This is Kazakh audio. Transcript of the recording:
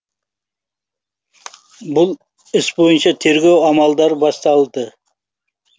бұл іс бойынша тергеу амалдары басталды